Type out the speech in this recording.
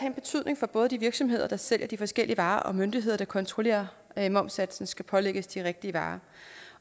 en betydning for både de virksomheder der sælger de forskellige varer og de myndigheder der kontrollerer at momssatsen skal pålægges de rigtige varer